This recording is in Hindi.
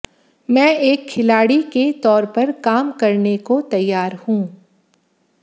मैं एक खिलाड़ी के तौर पर काम करने को तैयार हूं